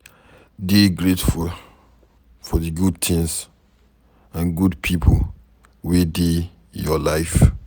Dey grateful for di good things and good pipo wey dey your life